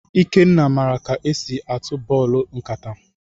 Ikenna maara ka e si atụ bọọlụ nkata.